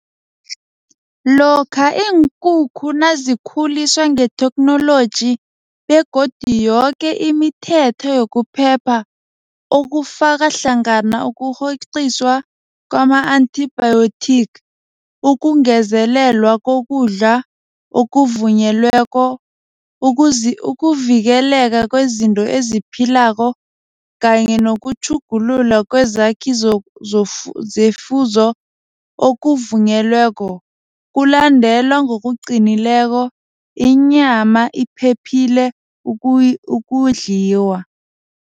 Lokha iinkukhu nazikhuliswa ngetheknoloji begodu yoke imithetho yokuphepha okufakahlangana ukurhoqiswa kwama-antibiotic, ukungezelelwa kokudla okuvunyelweko, ukuvikeleka kwezinto eziphilako kanye nokutjhugululwa kwezakhi zefuzo okuvunyelweko kulandelwa ngokuqinileko inyama iphephile ukudliwa.